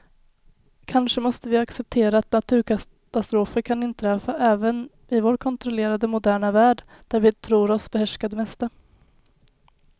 Kanske måste vi acceptera att naturkatastrofer kan inträffa även i vår kontrollerade, moderna värld där vi tror oss behärska det mesta.